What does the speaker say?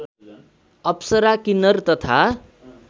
अप्सरा किन्नर तथा